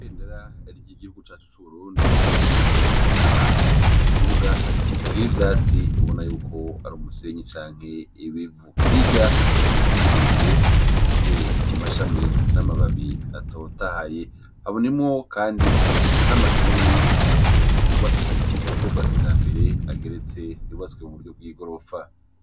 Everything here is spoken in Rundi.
Yendera rirya igihugu cacu c'uburundi rimanutse ahantu mu kibuga kitagira ivyatsi ubona yuko ari umusenyi canke ibivu hirya hari ibiti birebire bifise amashami n'amababi atotahaye habunimwo, kandi n'amashuri ubona ko yubatswe mu buryo bwa kija mberee geretse yubatswe mu buryo gw'i gorofa.